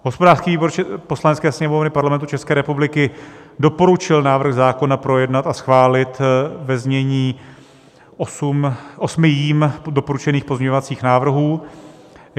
Hospodářský výbor Poslanecké sněmovny Parlamentu České republiky doporučil návrh zákona projednat a schválit ve znění osmi jím doporučených pozměňovacích návrhů.